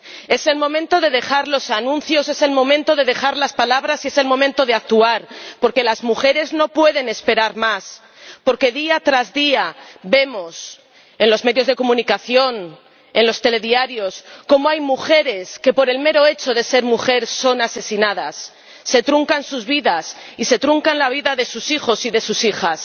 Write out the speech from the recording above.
Es el momento de dejar los anuncios, es el momento de dejar las palabras y es el momento de actuar, porque las mujeres no pueden esperar más, porque día tras día vemos en los medios de comunicación, en los telediarios, como hay mujeres que, por el mero hecho de ser mujeres, son asesinadas, se truncan sus vidas y se truncan las vidas de sus hijos y de sus hijas.